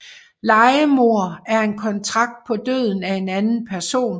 Lejemord er en kontrakt på døden af en anden person